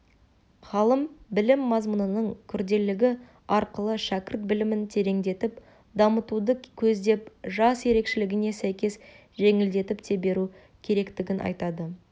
ғалым білім мазмұнынының күрделігі арқылы шәкірт білімін тереңдетіп дамытуды көздеп жас ерекшелігіне сәйкес жеңілдетіп те беру керектігін айтады